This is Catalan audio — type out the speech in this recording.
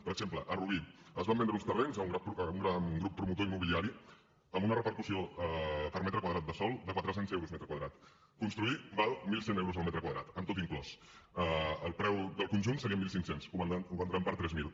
per exemple a rubí es van vendre uns terrenys a un gran grup promotor immobiliari amb una repercussió per metre quadrat de sòl de quatre cents euros metre quadrat construir val mil cent euros el metre quadrat amb tot inclòs el preu del conjunt serien mil cinc cents ho vendran per tres mil